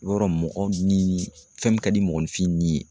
Yɔrɔ mɔgɔ ni fɛn min ka di mɔgɔninfin ni ye